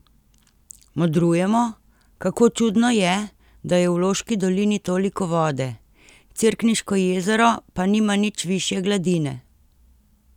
Modrujemo, kako čudno je, da je v Loški dolini toliko vode, Cerkniško jezero pa nima nič višje gladine!